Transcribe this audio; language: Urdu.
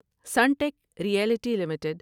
Sunteck Realty limited